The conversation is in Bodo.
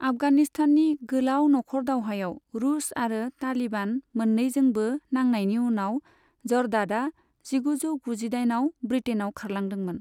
आफगानिस्ताननि गोलाव नखरदावहायाव रूस आरो तालिबान मोननैजोंबो नांनायनि उनाव जरदादआ जिगुजौ गुजिदाइन आव ब्रिटेनआव खारलांदोंमोन।